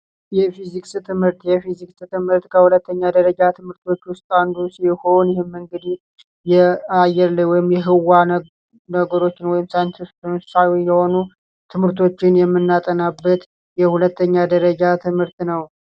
የፊዚክስ ትምህርት ሁለተኛ ደረጃ ትምህርቶች አንዱ ሲሆን ይህም እንግዲህ የህዋ ወይም የአየር ላይ ነገሮችን የሆኑ ትምህርቶችን የምናጠናበት የሁለተኛ ደረጃ ትምህርት ነው።